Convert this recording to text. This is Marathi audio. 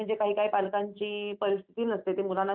हो हो खूप दुरून दुरून लोकं येतात